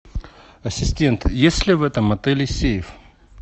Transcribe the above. ассистент есть ли в этом отеле сейф